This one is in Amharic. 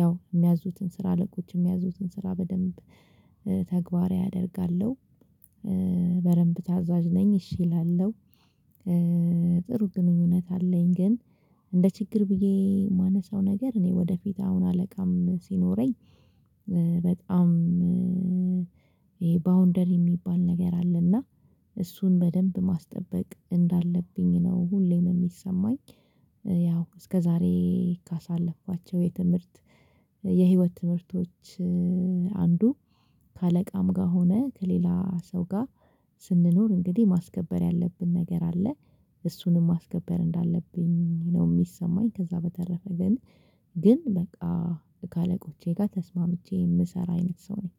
ያው የሚያዙትን ስራ አለቆች የሚያዙትን ስራ በደንብ ተግባራዊ አደርጋለሁ። በደንብ ታዛዥ ነኝ እሺ እላለሁ ጥሩ ግንኙነት አለኝ። ግን እንደ ችግር ብዬ የማነሳው ነገር እኔ ወደፊት አሁን አለቃም ሲኖረኝ በጣም ይሄ ባውንደሪ የሚባል ነገር አለና እሱን በደንብ ማስጠበቅ እንዳለብኝ ነው። ሁሌም የሚሰማኝ። ያው እስከዛሬ ካሳለፍኳቸው የትምህርት የህይወት ትምህርቶች። አንዱ ከአለቃም ጋር ሆነህ ከሌላ ሰው ጋር ስንኖር እንግዲህ ማስከበር ያለብን ነገር አለ እሱንም ማስከበር እንዳለብኝ ነው የሚሰማኝ። ከዛ በተረፈ ግን ግን በቃ ካለቆቼ ጋር ተስማምቼ የምሰራ አይነት ሰው ነኝ።